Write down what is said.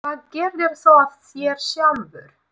Hvað gerðir þú af þér sjálfur?